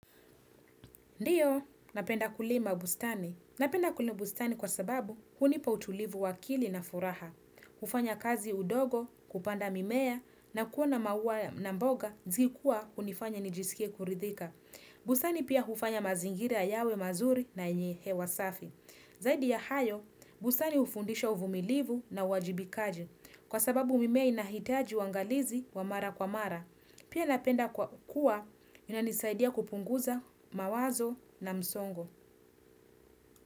Ndiyo, napenda kulima bustani. Napenda kulima bustani kwa sababu hunipa utulivu wa akili na furaha. Hufanya kazi udogo, kupanda mimea, na kuona maua na mboga, zikua hunifanya nijisikie kuridhika. Bustani pia hufanya mazingira yawe mazuri na yenye hewa safi. Zaidi ya hayo, bustani hufundisha uvumilivu na uwajibikaji. Kwa sababu mimea inahitaji uwangalizi wa mara kwa mara. Pia napenda kwa kuwa unanisaidia kupunguza mawazo na msongo.